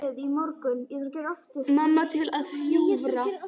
Mamma til að hjúfra.